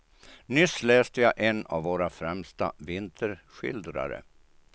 Nyss läste jag en av våra främsta vinterskildrare.